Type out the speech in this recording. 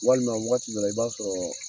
Walima wagati dɔ la i b'a sɔrɔ